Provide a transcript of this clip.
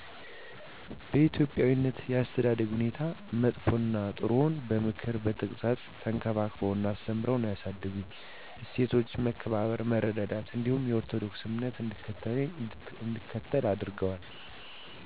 በኢትዮጵያዊነት የአተዳደግ ሁኔታ መጥፈ እና ጥሩውን በምክር በተግፃፅ ተንከባክበው እና አስተምርዉ ነው ያሳደጉኝ። እሴቶች መከባበር፥ መረዳዳት እንዲሁም የኦርቶዶክስ እምነት እንድከተል አድረገዋል